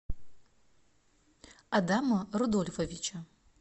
адама рудольфовича